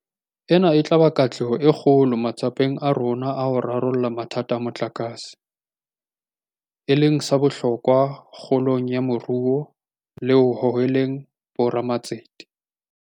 Ena e tla ba katleho e kgolo matsapeng a rona a ho rarolla mathata a motlakase, e leng sa bohlokwa kgolong ya moruo le ho hoheleng bo ramatsete.